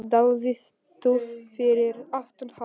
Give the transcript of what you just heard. Daði stóð fyrir aftan hann.